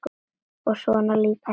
og svona líka fínar.